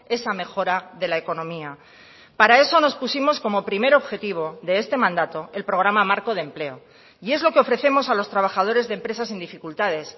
esa mejora de la economía para eso nos pusimos como primer objetivo de este mandato el programa marco de empleo y es lo que ofrecemos a los trabajadores de empresas en dificultades